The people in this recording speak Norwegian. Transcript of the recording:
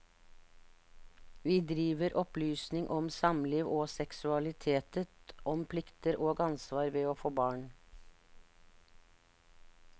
Vi driver opplysning om samliv og seksualitet, om plikter og ansvar ved å få barn.